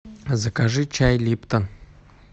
закажи чай липтон